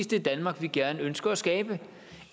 det danmark vi gerne ønsker at skabe